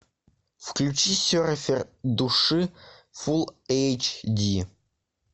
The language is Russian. включи серфер души фулл эйч ди